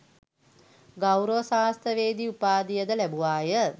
ගෞරව ශාස්ත්‍රවේදි උපාධියද ලැබුවාය.